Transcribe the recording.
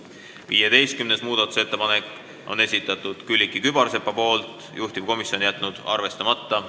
15. muudatusettepaneku on esitanud Külliki Kübarsepp, juhtivkomisjon on jätnud arvestamata.